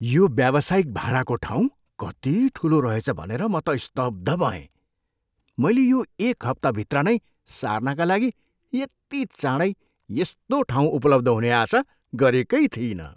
यो व्यावसायिक भाडाको ठाउँ कति ठुलो रहेछ भनेर म त स्तब्ध भएँ। मैले यो एक हप्ताभित्र नै सार्नका लागि यति चाँडै यस्तो ठाउँ उपलब्ध हुने आशा गरेकै थिइनँ!